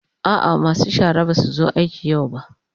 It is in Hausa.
A'a masu shara ba su zo aiki yau ba.